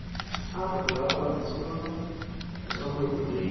Ah tá, morava lá com a sua sua mãe também?